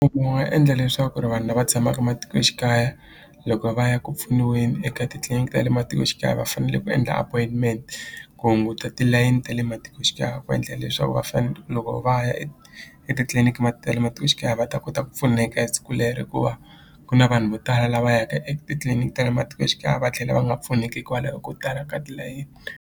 wu nga endla leswaku ri vanhu lava tshamaka matikoxikaya loko va ya ku pfuniweni eka titliliniki ta le matikoxikaya va fanele ku endla appointment ku hunguta tilayini ta le matikoxikaya va endlela leswaku va loko va ya etitliliniki ta le matikoxikaya va ta kota ku pfuneka hi siku lere hikuva ku na vanhu vo tala lava yaka etliliniki ta le matikoxikaya va tlhela va nga pfuneki hikwalaho ko tala ka tilayeni.